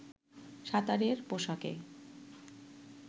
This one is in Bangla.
সাঁতারের পোশাকে